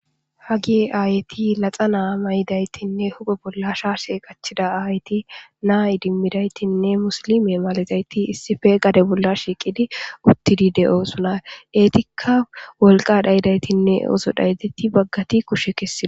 haጌይ aayeti laxa naa may7idaytinne huphe bolla sha sheeqachida ahayti naa idimmidaytinne musilime malazayti issife gade bolla shiiqidi uttidi de7oo suna eetikka wolqa dhayidaytinne oso dhaydetti baggati kushe kesside